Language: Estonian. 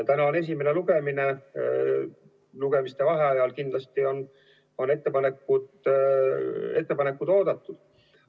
Täna on esimene lugemine, lugemiste vahel on kindlasti ettepanekud oodatud.